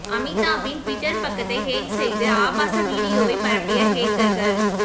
அமிதாப்பின் Twitter பக்கத்தை hack செய்து ஆபாச வீடியோவை பரப்பிய ஹேக்கர்கள்